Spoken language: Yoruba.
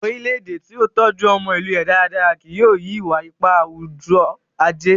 orilẹ-ede ti o tọjú ọmọ ilù rẹ dáradára kìí yóò ri, iwa-ipa awujọ-aje